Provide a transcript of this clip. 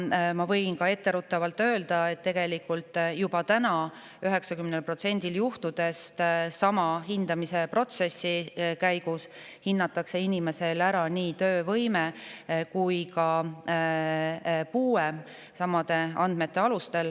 Ma võin etteruttavalt öelda, et tegelikult hinnatakse juba täna 90%‑l juhtudest sama hindamisprotsessi käigus samade andmete alusel nii inimese töövõimet kui ka puuet.